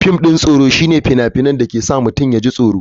Fim ɗin tsoro shine fina-finan da ke sa masu sauraro su ji tsoro.